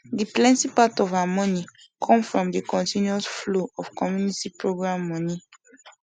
de plenti part of her moni com from de continus flow of commuinty program moni